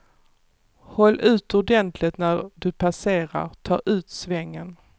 Håll ut ordentligt när du passerar, ta ut svängen.